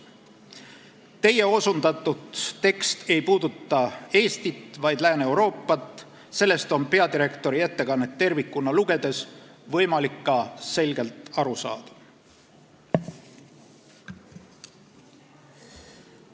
Teie osundatud tekst ei puuduta Eestit, vaid Lääne-Euroopat – sellest on võimalik peadirektori ettekannet tervikuna lugedes ka selgelt aru saada.